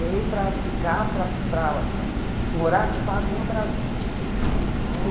Veio para ficar, para para morar de fato no Brasil. E montar um